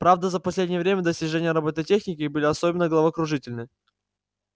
правда за последнее время достижения роботехники были особенно головокружительны